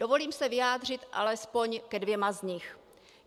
Dovolím se vyjádřit alespoň ke dvěma z nich.